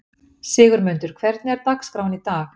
Sigurmundur, hvernig er dagskráin í dag?